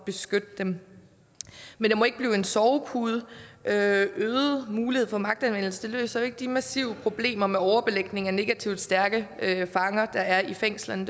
beskytte dem men det må ikke blive en sovepude øget mulighed for magtanvendelse løser jo ikke de massive problemer med overbelægning af negativt stærke fanger der er i fængslerne